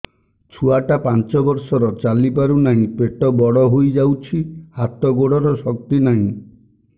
ଛୁଆଟା ପାଞ୍ଚ ବର୍ଷର ଚାଲି ପାରୁନାହଁ ପେଟ ବଡ ହୋଇ ଯାଉଛି ହାତ ଗୋଡ଼ର ଶକ୍ତି ନାହିଁ